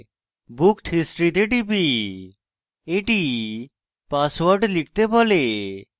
booked history তে টিপি এটি পাসওয়ার্ড লিখতে বলে